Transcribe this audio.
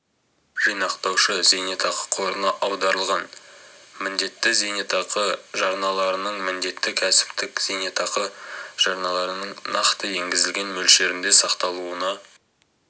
жинақтаушы зейнетақы қорына аударылған міндетті зейнетақы жарналарының міндетті кәсіптік зейнетақы жарналарының нақты енгізілген мөлшерінде сақталуына